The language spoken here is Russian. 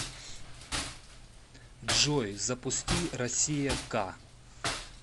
джой запусти россия к